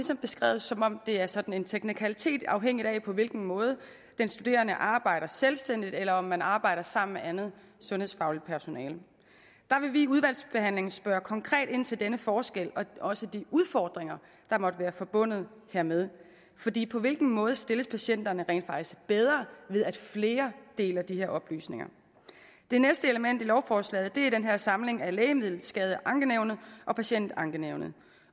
det beskrevet som om det er sådan en teknikalitet afhængigt af på hvilken måde den studerende arbejder selvstændigt eller om man arbejder sammen med andet sundhedsfagligt personale der vil vi i udvalgsbehandlingen spørge konkret ind til denne forskel og også de udfordringer der måtte være forbundet hermed fordi på hvilken måde stilles patienterne rent faktisk bedre ved at flere deler de her oplysninger det næste element i lovforslaget er den her samling af lægemiddelskadeankenævnet og patientskadeankenævnet